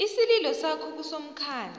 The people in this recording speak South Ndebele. isililo sakho kusomkhandlu